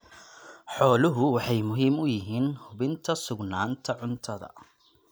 Xooluhu waxay muhiim u yihiin hubinta sugnaanta cuntada.